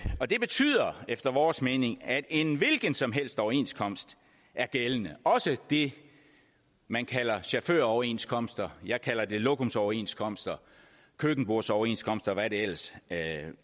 og det betyder efter vores mening at en hvilken som helst overenskomst er gældende også det man kalder chaufføroverenskomster jeg kalder dem lokumsoverenskomster køkkenbordsoverenskomster og hvad de ellers